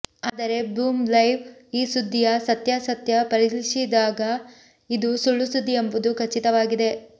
ಆದರೆ ಬೂಮ್ಲೈವ್ ಈ ಸುದ್ದಿಯ ಸತ್ಯಾಸತ್ಯ ಪರಿಶೀಲಿಸಿದಾಗ ಇದು ಸುಳ್ಳುಸುದ್ದಿ ಎಂಬುದು ಖಚಿತವಾಗಿದೆ